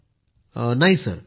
पूनम नौटियालः नाही सर